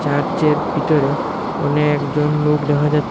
চার্চের ভিতরে অনেকজন লোক দেখা যাচ--